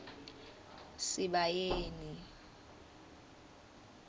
sibayeni